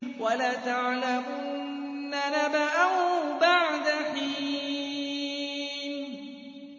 وَلَتَعْلَمُنَّ نَبَأَهُ بَعْدَ حِينٍ